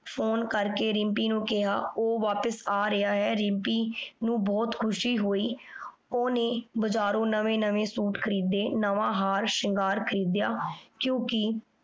Phone ਕਰ ਕੇ ਰਿਮ੍ਪੀ ਨੂ ਕੇਹਾ ਊ ਵਾਪਿਸ ਆ ਰੇਯਾ ਆਯ। ਰਿਮ੍ਪੀ ਨੂ ਬੋਹਤ ਖੁਸ਼ੀ ਹੋਈ ਓਹਨੇ ਬਾਜਾਰੋੰ ਨਵੇ ਨਵੇ ਸੂਟ ਖਰੀਦੇ ਨਵਾਂ ਹਾਰ ਸ਼ਿਨ੍ਘਾਰ ਖਾਰਿਦ੍ਯਾ ਕਿਉਕਿ